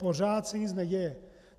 Pořád se nic neděje.